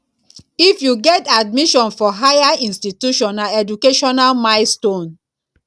if you get admission for higher institution na educational milestone